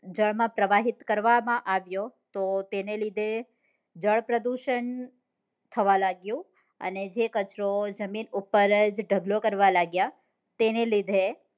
જળ માં પ્રવાહિત કરવા માં આવ્યો તો તેને લીધે જળ પ્રદુષણ થવા લાગ્યું અને જે કચરો જમીન ઉપ્પર જ ઢગલો કરવા લાગ્યા તેને લીધે